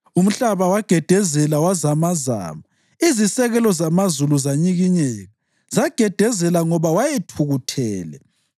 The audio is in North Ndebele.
Umhlaba wagedezela wazamazama, izisekelo zamazulu zanyikinyeka; zagedezela ngoba wayethukuthele.